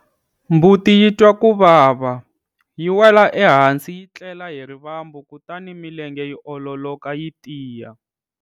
Mbuti yi twa ku vava, yi wela ehansi yi tlela hi rivambu kutani milenge yi ololoka yi tiya.